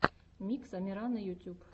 микс амирана ютюб